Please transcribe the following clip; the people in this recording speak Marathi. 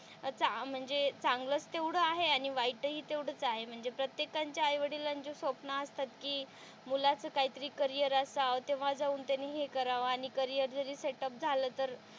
म्हणजे चांगलंच तेवढं आहे आणि वाईट हि तेवढंच आहे म्हणजे प्रत्येकांच्या आई वडिलांचे स्वप्न असतात कि मुलाचं कायतरी करिअर असावं तेव्हा जाऊन त्याने हे करावं आणि करिअर जरी सेट अप झालं तर,